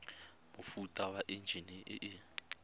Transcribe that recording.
mofuta wa enjine e e